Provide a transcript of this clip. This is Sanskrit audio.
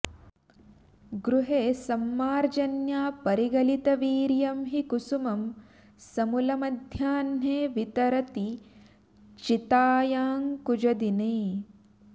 गृहे सम्मार्जन्या परिगलितवीर्यं हि कुसुमं समूलम्मध्याह्ने वितरति चितायाङ्कुजदिने